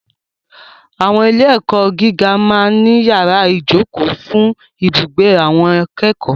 Àwọn ilé-ẹ̀kọ́ gíga máa ń ní yàrá ìjókòó fún ibùgbé àwọn akẹ́kọ̀ọ́.